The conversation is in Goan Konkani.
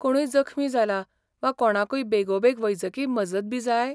कोणूय जखमी जाला वा कोणाकूय बेगोबेग वैजकी मजतबी जाय?